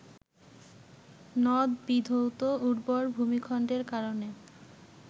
নদবিধৌত উর্বর ভূমিখণ্ডের কারণে